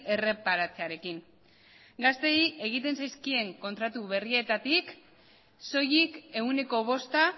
erreparatzearekin gazteei egiten zaizkien kontratu berrietatik soilik ehuneko bosta